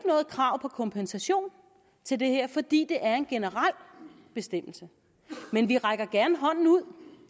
noget krav på kompensation til det her fordi det er en generel bestemmelse men vi rækker gerne hånden ud